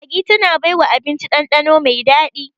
Maggi tana baiwa abinci ɗanɗano mai daɗi